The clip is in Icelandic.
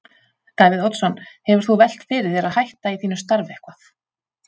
Davíð Oddsson: Hefur þú velt fyrir þér að hætta í þínu starfi eitthvað?